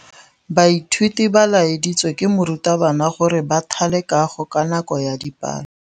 Baithuti ba laeditswe ke morutabana gore ba thale kagô ka nako ya dipalô.